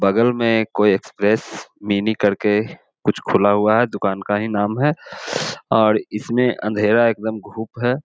बगल में कुछ कोई एक्सप्रेस मिनी करके कुछ खुला हुआ है दुकान का ही नाम है और इसमें अंधेरा एकदम खूब है।